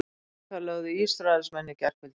Slóvakar lögðu Ísraelsmenn í gærkvöldi